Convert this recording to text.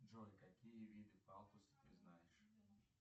джой какие виды палтуса ты знаешь